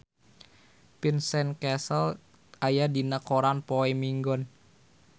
Vincent Cassel aya dina koran poe Minggon